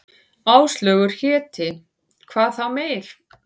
Áslaugar héti, hvað þá meir.